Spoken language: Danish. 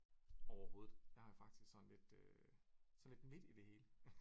Overhovedet jeg har faktisk sådan lidt øh sådan lidt midt i det hele